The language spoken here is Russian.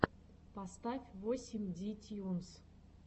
поставь восемь ди тьюнс